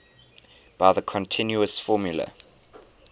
by the continuous formula